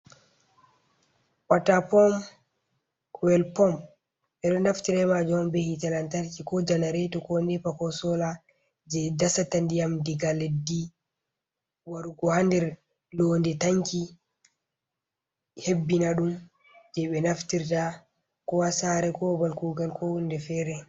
Wata pomp, koyel pomp. Ɓe ɗo naftira be majum be hite lantarki, ko janareto, ko nepa, ko sola, je dasata ndiyam diga leddi warugo haa nder londe tanki, hebbina ɗum jei ɓe naftirta ko haa saare ko babal kuugal, ko hunde fere.